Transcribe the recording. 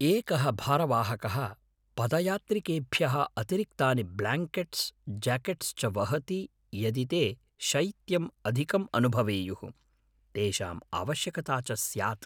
एकः भारवाहकः पदयात्रिकेभ्यः अतिरिक्तानि ब्ल्याङ्केट्स्, ज्याकेट्स् च वहति यदि ते शैत्यम् अधिकम् अनुभवेयुः, तेषाम् आवश्यकता च स्यात्।